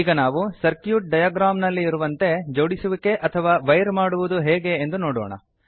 ಈಗ ನಾವು circuit diagram ನಲ್ಲಿರುವಂತೆ ಜೋಡಿಸುವಿಕೆ ಅಥವಾ ವೈರ್ ಮಾಡುವುದು ಹೇಗೆಂದು ನೋಡೋಣ